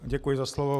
Děkuji za slovo.